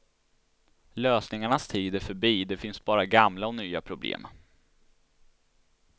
Lösningarnas tid är förbi, det finns bara gamla och nya problem.